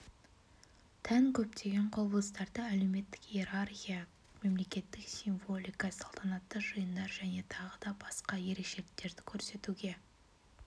тән көптеген құбылыстарды әлеуметтік иерархия мемлекеттік символика салтанатты жиындар және тағы да басқа ерекшеліктерді көрсетуге